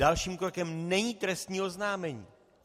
Dalším krokem není trestní oznámení.